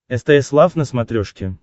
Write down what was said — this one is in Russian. стс лав на смотрешке